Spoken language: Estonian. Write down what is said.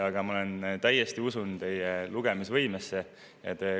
Aga ma täiesti usun teie lugemisvõimesse.